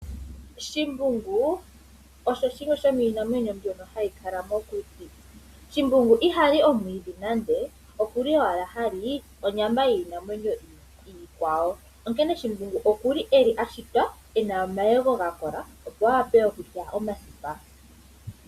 Shimbungu, osho shimwe shomiinamwenyo mbyoka hayi kala mokuti. Shimbungu ihali omwiidhi nande okuli owala hali onyama yiinamwenyo iikwawo, onkene shimbungu okuli eli a shitwa ena omayego ga kola opo a wape okulya omasipa.